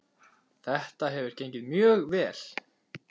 Þetta hefur gengið mjög vel.